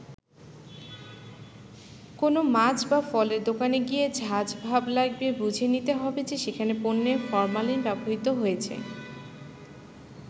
কোনো মাছ বা ফলের দোকানে গিয়ে ঝাঁজ ভাব লাগবে বুঝে নিতে হবে যে সেখানের পণ্যে ফরমালিন ব্যবহৃত হয়েছে।